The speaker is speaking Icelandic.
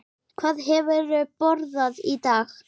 Hvað hefurðu borðað í dag?